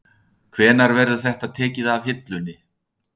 Þorbjörn Þórðarson: Hvenær verður þetta tekið af hillunni?